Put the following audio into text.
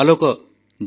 କେତେ ଉତ୍ତମ ବାର୍ତ୍ତା